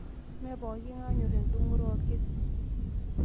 Mee poking'ae onyor endungoto olkesin